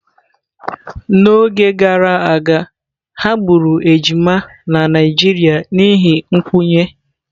N'oge gara aga, ha gburu ejima na Naijiria n'ihi nkwenye.